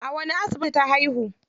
A wani asibiti ta haihu?